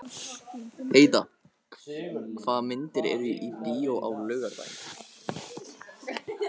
Heida, hvaða myndir eru í bíó á laugardaginn?